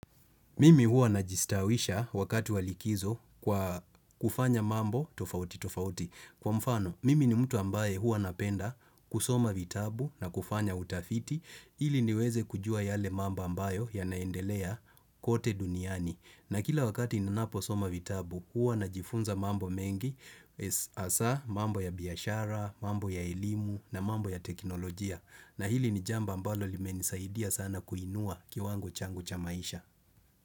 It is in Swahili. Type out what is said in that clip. Mimi huwa najistawisha wakati wa likizo kwa kufanya mambo tofauti tofauti. Kwa mfano, mimi ni mtu ambaye huwa napenda kusoma vitabu na kufanya utafiti. Ili niweze kujua yale mambo ambayo yanaendelea kote duniani. Na kila wakati ninapo soma vitabu, huwa najifunza mambo mengi hasaa, mambo ya biashara, mambo ya elimu na mambo ya teknolojia. Na hili ni jambo ambalo limenisaidia sana kuinua kiwango changu cha maisha.